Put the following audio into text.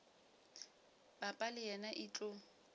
papa le yena e tlo